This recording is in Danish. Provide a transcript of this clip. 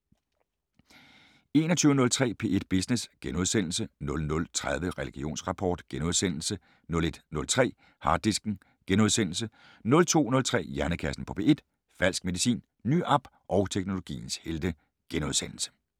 21:03: P1 Business * 00:30: Religionsrapport * 01:03: Harddisken * 02:03: Hjernekassen på P1: Falsk medicin, ny app og teknologiens helte *